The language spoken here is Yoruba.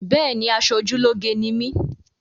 Béèni, aṣojúlóge ni mí